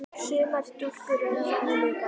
Sumar stúlkur eru þannig líka.